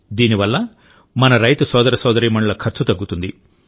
దీని వల్ల మన రైతు సోదర సోదరీమణుల ఖర్చు తగ్గుతుంది